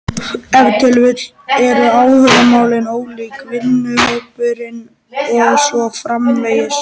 Ef til vill eru áhugamálin ólík, vinahópurinn og svo framvegis.